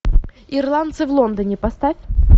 ирландцы в лондоне поставь